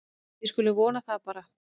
Við skulum vona það bara.